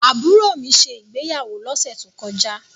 Àbúrò mi ṣe ìgbéyàwó lọ́sẹ̀ tó kọjá.